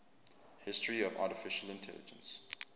history of artificial intelligence